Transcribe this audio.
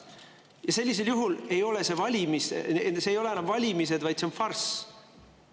Ja sellisel juhul need ei ole enam valimised, vaid see on farss.